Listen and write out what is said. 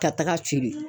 Ka taga ci